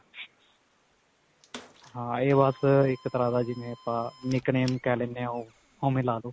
ਹਾਂ ਇਹ ਬਸ ਇੱਕ ਤਰ੍ਹਾਂ ਦਾ ਜਿਵੇਂ nick name ਕਿਹ ਲੈਨੇ. ਓ ਓਂਵੇ ਲਾ ਲਵੋ.